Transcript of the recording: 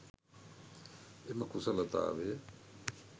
එම කුසලතාවය